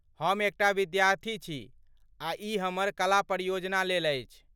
हम एक टा विद्यार्थी छी आ ई हमर कला परियोजनालेल अछि।